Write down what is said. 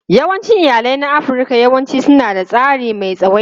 Yawancin iyalai na Afirka yawanci suna da tsari mai tsawaita.